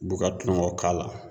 b'u ka tulonkɛw k'a la.